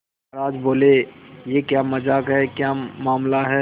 महाराज बोले यह क्या मजाक है क्या मामला है